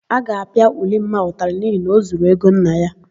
A ga-apịa Ulimma ụtalị n'ihi na ọ zuru ego nne ya.